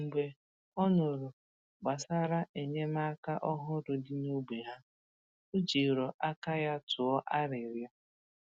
Mgbe ọ nụrụ gbasàrà enyémàkà òhùrù dị n’ógbè ha, ó jìrò aka ya tụọ arịrịọ.